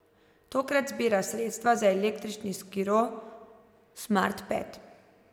Tokrat zbira sredstva za električni skiro Smart Ped.